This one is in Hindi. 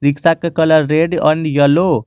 रिक्शा का कलर रेड और येलो --